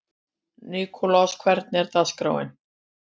Nikolas, hvernig er dagskráin?